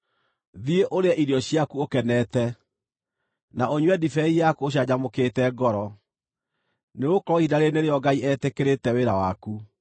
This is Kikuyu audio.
Thiĩ, ũrĩe irio ciaku ũkenete, na ũnyue ndibei yaku ũcanjamũkĩte ngoro, nĩgũkorwo ihinda rĩĩrĩ nĩrĩo Ngai etĩkĩrĩte wĩra waku.